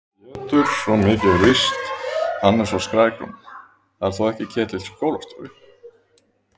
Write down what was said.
Pétur, svo mikið er víst, hann er svo skrækróma. það er þó ekki Ketill skólastjóri?